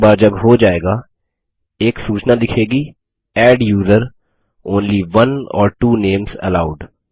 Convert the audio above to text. एक बार जब हो जाएगा एक सूचना दिखेगी adduser160 only one or two names allowed